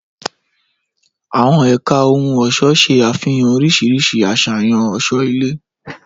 Àwọn ẹ̀ka ohun ọ̀ṣọ́ ṣe àfihàn oríṣiríṣi àṣàyàn ọ̀ṣọ́ ilé.